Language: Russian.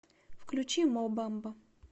включи мо бамба